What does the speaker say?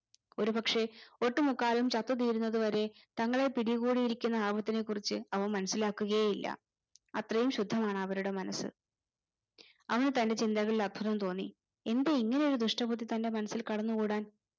ഒരു പക്ഷെ ഒട്ടുമുക്കാലും ചത്തുതീരുന്നത് വരെ തങ്ങളെ പിടികൂടിയിരിക്കുന്ന ആപത്തിനെ കുറിച്ച് അവ മനസിലാക്കുകയേ ഇല്ല അത്രയും ശുദ്ധമാണ് അവരുടെ മനസ് അവന് തന്റെ ചിന്തകളിൽ അത്ഭുതം തോന്നി എന്തേ ഇങ്ങനെ ഒര് ദുഷ്ടബുദ്ധി തന്റെ മനസ്സിൽ കടന്നു കൂടാൻ